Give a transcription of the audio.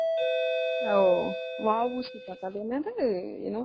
ஓ VOC park அது என்னது?